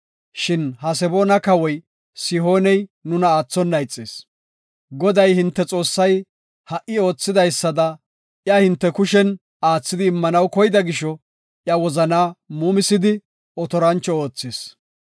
Shin Haseboona kawoy Sihooney nuna aathona ixis. Goday hinte Xoossay ha77i oothidaysada iya hinte kushen aathidi immanaw koyida gisho iya wozanaa muumisisdi, otorancho oothis.